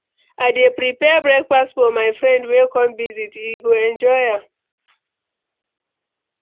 I dey prepare breakfast for my friend wey come visit; e go enjoy am.